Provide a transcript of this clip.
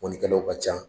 Mɔnikɛlaw ka ca